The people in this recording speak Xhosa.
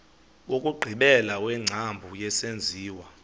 wokugqibela wengcambu yesenziwa